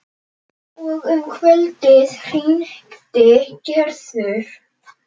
Og um kvöldið hringdi Gerður.